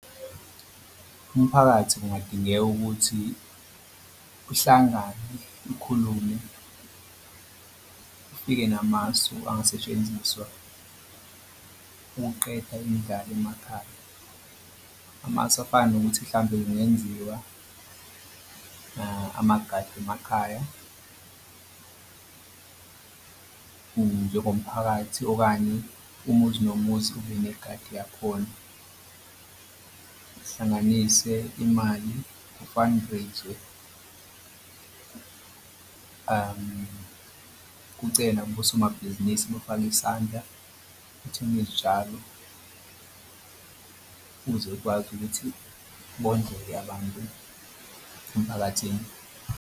Umphakathi kungadingeka ukuthi uhlangane ukhulume ufike namasu angasetshenziswa ukuqeda indlala emakhaya. Amasu afana nokuthi hlampe kungenziwa amagadi emakhaya njengomphakathi okanye umuzi nomuzi ube negadi yakhona, kuhlanganise imali ku-fundraise-we. Kucelwe nakosomabhizinisi bafake isandla kuthengwe izitshalo ukuze kwazi ukuthi bondleka abantu emphakathini.